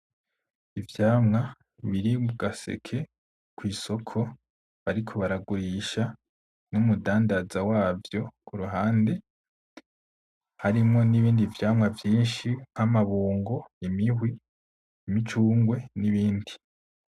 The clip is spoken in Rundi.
Ivyamwa biri mu gaseke kw'isoko bariko baragurisha n’umudandaza wavyo kuhande harimwo n’ibindi vyamwa vyishi nk’amabungo, imihwi, imicungwe n’ibindi.